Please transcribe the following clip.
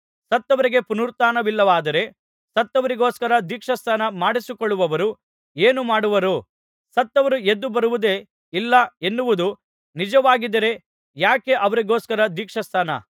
ಸತ್ತವರಿಗೆ ಪುನರುತ್ಥಾನವಿಲ್ಲವಾದರೆ ಸತ್ತವರಿಗೋಸ್ಕರ ದೀಕ್ಷಾಸ್ನಾನ ಮಾಡಿಸಿಕೊಳ್ಳುವವರು ಏನು ಮಾಡುವರು ಸತ್ತವರು ಎದ್ದು ಬರುವುದೇ ಇಲ್ಲ ಎನ್ನುವುದು ನಿಜವಾಗಿದ್ದರೆ ಯಾಕೆ ಅವರಿಗೋಸ್ಕರ ದೀಕ್ಷಾಸ್ನಾನ ಮಾಡಿಸಿಕೊಳ್ಳುತ್ತಾರೆ